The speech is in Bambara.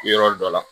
Yɔrɔ dɔ la